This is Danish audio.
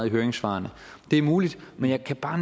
i høringssvarene det er muligt men jeg kan bare